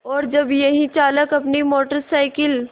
और जब यही चालक अपनी मोटर साइकिल